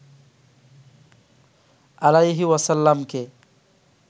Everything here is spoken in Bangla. আলাইহি ওয়াসাল্লামকে